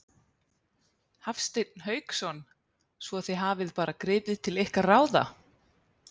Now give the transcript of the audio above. Hafsteinn Hauksson: Svo þið hafið bara gripið til ykkar ráða?